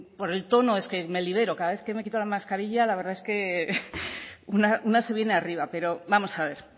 por el tono es que me libero cada vez que me quito la mascarilla la verdad es que una se viene arriba pero vamos a ver